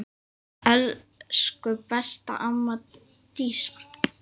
Elsku besta amma Dísa.